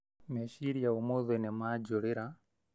Meciria ũmũthĩ nĩ manjũrĩra